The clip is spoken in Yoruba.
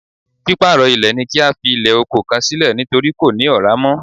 Pípàrọ̀ ilẹ̀ ni kí a fi ilẹ̀ oko kan sílẹ̀ nítorí kò ní Ọ̀rá mọ́